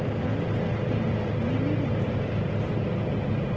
दीवार पर पिलर नीले रंग से पैंट किए गए हैं।